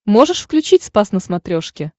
можешь включить спас на смотрешке